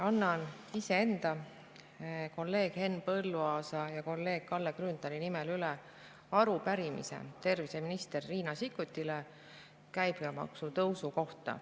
Annan iseenda, kolleeg Henn Põlluaasa ja kolleeg Kalle Grünthali nimel üle arupärimise terviseminister Riina Sikkutile käibemaksu tõusu kohta.